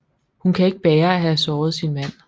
Hun kan ikke bære at have såret sin mand